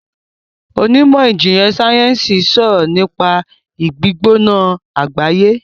onimọ ìjìnlè sáyẹnsì sọrọ nipa igbigbona agbaye.